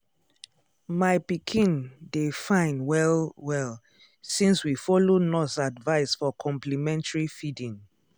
my pikin dey fine well-well since we follow nurse advice for complementary feeding.